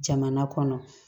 Jamana kɔnɔ